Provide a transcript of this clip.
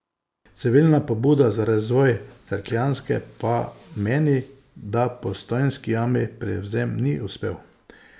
Civilna pobuda za razvoj Cerkljanske pa meni, da Postojnski jami prevzem ni uspel.